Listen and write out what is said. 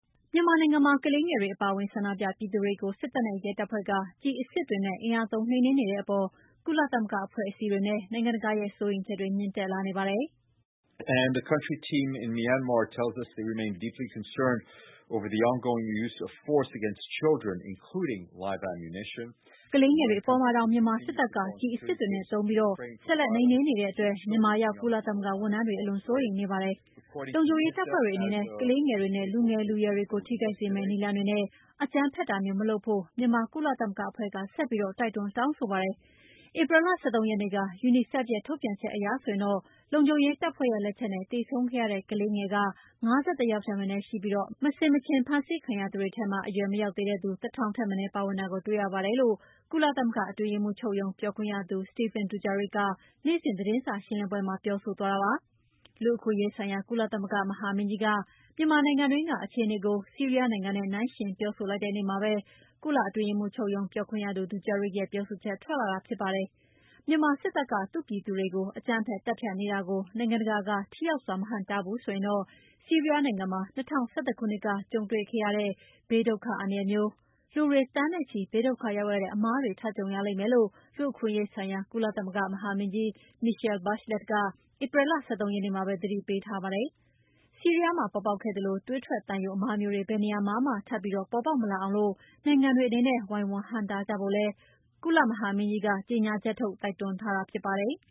မြန်မာနိုင်ငံမှာ ကလေးငယ်တွေအပါအဝင် ဆန္ဒပြပြည်သူတွေကို စစ်တပ်နဲ့ ရဲတပ်ဖွဲ့က ကျည်အစစ်တွေနဲ့ အင်အားသုံး နှိမ်နှင်းနေတဲ့အပေါ် ကုလသမဂ္ဂအဖွဲ့အစည်းအတွေနဲ့ နိုင်ငံတကာရဲ့ စိုးရိမ်ချက် တွေမြင့်တက်လာနေပါတယ်။ “ ကလေးငယ်တွေအပေါ်မှာတောင် မြန်မာစစ်တပ်က ကျည်အစစ်တွေနဲ့ သုံးပြီး ဆက်လက် နှိမ်နှင်းနေတဲ့အတွက် မြန်မာရောက် ကုလသမဂ္ဂဝန်ထမ်းတွေက အလွန်စိုးရိမ်နေကြပါတယ်။ လုံခြုံရေးတပ်ဖွဲ့တွေအနေနဲ့ ကလေးငယ်တွေနဲ့လူငယ်လူရွယ်တွေ ထိခိုက်စေမယ့်နည်းလမ်းတွေနဲ့ အကြမ်းဖက်တာမျိုး မလုပ်ဖို့ မြန်မာ ကုလသမဂ္ဂအဖွဲ့က ဆက်ပြီးတိုက်တွန်းတောင်းဆိုပါတယ်။ ဧပြီလ ၁၃ ရက်နေ့က UNICEF ရဲ့ထုတ်ပြန်ချက်အရ လုံခြုံရေးတပ်ဖွဲ့ရဲ့လက်ချက်နဲ့ သေဆုံးခဲ့ရတဲ့ ကလေးငယ် ၅၁ ယောက်ထက်မနည်းရှိပြီး မဆင်မခြင်ဖမ်းဆီးခံထားရသူတွေထဲမှာ အရွယ်မရောက်သေးတဲ့သူ ၁၀၀၀ ထက်မနည်းပါဝင်တာကိုတွေ့ရပါတယ် “ လို့ ကုလသမဂ္ဂအတွင်းရေးမှူးချုပ်ရုံးပြောခွင့်ရသူ Stephane Dujarric က နေ့စဉ်သတင်းစာရှင်းလင်းပွဲမှာ ပြောဆိုသွားတာပါ။ လူ့အခွင့်အရေးဆိုင်ရာ ကုလသမဂ္ဂမဟာမင်းကြီးက မြန်မာနိုင်ငံတွင်းက အခြေအနေကို ဆီးရီးယားနိုင်ငံနဲ့ နှိုင်းယှဉ်ပြောဆိုလိုက်တဲ့နေ့ထဲမှာပဲ ကုလအတွင်းရေးမှူးချုပ်ရုံး ပြောခွင့်ရသူ Dujarric ရဲ့ပြောဆိုချက် ထွက်လာတာလည်း ဖြစ်ပါတယ်။ မြန်မာစစ်တပ်က သူ့ပြည်သူတွေကို အကြမ်းဖက်သတ်ဖြတ်နေတာကို နိုင်ငံတကာက ထိထိရောက် မဟန့်တားဘူးဆိုရင် ဆီးရီးယားနိုင်ငံမှာ ၂၀၁၁ ခုနှစ်က ကြုံတွေ့ရတဲ့ ဘေးဒုက္ခအန္တရာယ်မျိုး၊ လူတွေ သန်းနဲ့ချီဘေးဒုက္ခ ရောက်ရတဲ့ အမှားတွေ ထပ်ကြုံရလိမ့်မယ်လို့ လူ့အခွင့်အရေးဆိုင်ရာ ကုလသမဂ္ဂ မဟာမင်းကြီး Michelle Bachelet က ဧပြီလ ၁၃ ရက်နေ့မှာပဲ သတိပေးထားပါတယ်။ ဆီးရီးယားမှာ ပေါ်ပေါက်ခဲ့သလို သွေးထွက်သံယိုအမှားမျိုးတွေ ဘယ်နေရာမှာမှ ထပ်ပြီးပေါ်ပေါက်မလာအောင် နိုင်ငံတွေအနေနဲ့ ဝိုင်းဝန်း ဟန့်တားကြဖို့လည်း ကုလမဟာမင်းကြီးက ကြေညာချက်ထုတ် တိုက်တွန်းထားတာဖြစ်ပါတယ်။